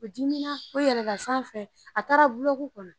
O dimina o yɛlɛla sanfɛ a taara kɔnɔ.